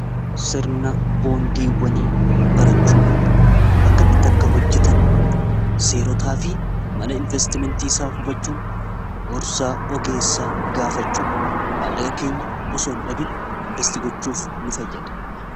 Sirna boondiiwwanii barachuu akkamitti akka hojjetan seerotaa fi mala investimentiiisaa hubachuun gorsaa ogeessaa gaafachuun mallaqa keenya osoon dhabin investii gochuuf nu fayyada.